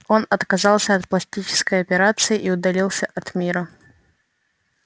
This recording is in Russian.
он отказался от пластической операции и удалился от мира